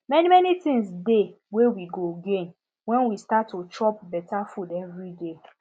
many many things dey wey we go gain when we start to dey chop better food every day